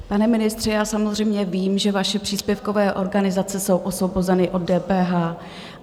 Pane ministře, já samozřejmě vím, že vaše příspěvkové organizace jsou osvobozeny od DPH.